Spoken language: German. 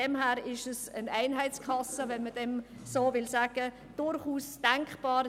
Daher ist eine Einheitskasse – wenn man dem so sagen will – durchaus denkbar.